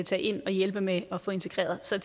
tage ind og hjælpe med at få integreret så